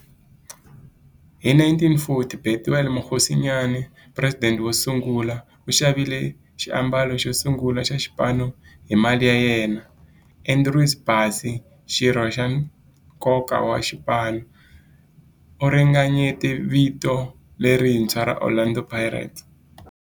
Hi 1940, Bethuel Mokgosinyane, president wosungula, u xavile xiambalo xosungula xa xipano hi mali ya yena. Andrew Bassie, xirho xa nkoka xa xipano, u ringanyete vito lerintshwa ra 'Orlando Pirates'.